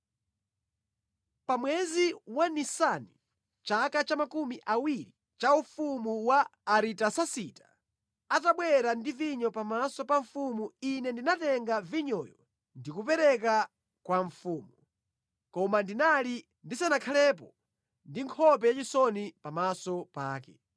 Pa mwezi wa Nisani, mʼchaka cha makumi awiri cha ufumu wa Aritasasita, atabwera ndi vinyo pamaso pa mfumu ine ndinatenga vinyoyo ndi kupereka kwa mfumu. Koma ndinali ndisanakhalepo ndi nkhope yachisoni pamaso pake.